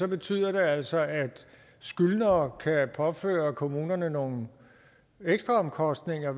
betyder det altså at skyldnere kan påføre kommunerne nogle ekstraomkostninger